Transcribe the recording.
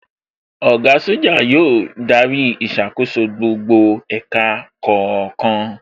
Oga Soja yóò darí ìṣàkóso gbogbo ẹ̀ka kọ̀ọ̀kan